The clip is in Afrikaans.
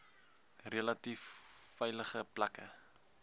relatief veilige plekke